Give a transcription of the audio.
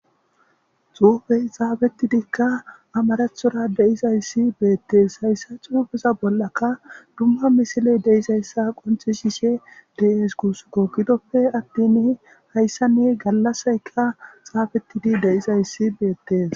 xuufey xaafetidikka amarathoora de'izayssi beettees. Hayssa xuufeza bollaka dumma misiley de'izayssa qonccisishe de'es guussikko. Gidoppe attin hayssani gallassayka xaafettidi de'izayssi beettees.